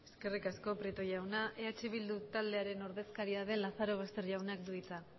eskerrik asko prieto jauna eh bildu taldearen ordezkaria den lazorbaster jaunak du hitza